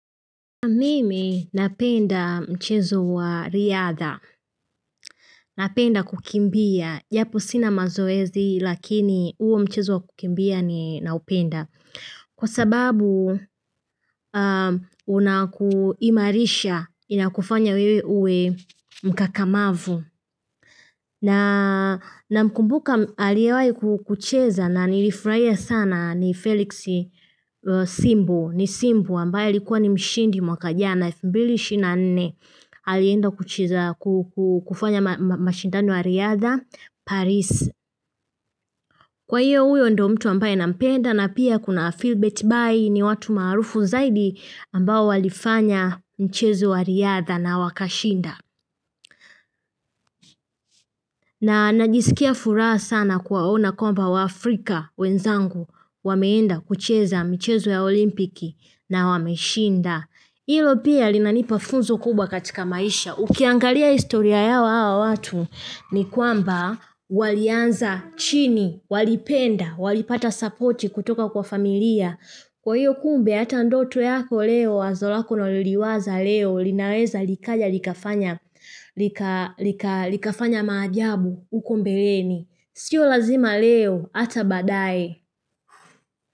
Mimi napenda mchezo wa riadha, napenda kukimbia, japo sina mazoezi lakini huo mchezo wa kukimbia ninaupenda Kwa sababu unakuimarisha inakufanya wewe uwe mkakamavu Namkumbuka aliyewai kukucheza na nilifurahia sana ni felix simbo ni simbu ambaye alikuwa ni mshindi mwaka jana elfu mbili ishirini na nne alienda kucheza kufanya mashindano ya riadha Paris Kwa hiyo huyo ndo mtu ambaye nampenda na pia kuna Philbert Bai ni watu maarufu zaidi ambao walifanya mchezo wa riadha na wakashinda na najisikia furaha sana kuwaona kwamba waafrika wenzangu wameenda kucheza mchezo ya olimpiki na wameshinda hilo pia linanipa funzo kubwa katika maisha. Ukiangalia historia yao hawa watu ni kwamba walianza chini, walipenda, walipata sapoti kutoka kwa familia. Kwa hiyo kumbe hata ndoto yako leo, wazo lako unaloliwaza leo, linaweza likaja, likafanya maajabu, uko mbeleni. Sio lazima leo, ata baadae.